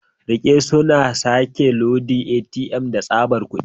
Rike, suna sake loda ATM da tsabar kudi.